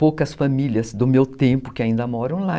Poucas famílias do meu tempo que ainda moram lá.